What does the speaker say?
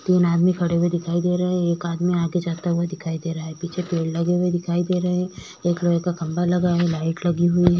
तीन आदमी खड़े हुए दिखाई दे रहे है एक आदमी आगे चलता हुआ दिखाई दे रहा है पीछे पेड़ लगे हुए दिखाई दे रहे है एक खम्बा लगा है लाइट लगी हुई है।